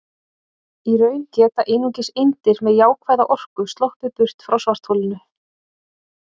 Í raun geta einungis eindir með jákvæða orku sloppið burt frá svartholinu.